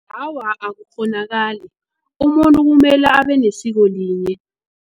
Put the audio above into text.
Awa, akukghonakali umuntu kumele abenesiko linye.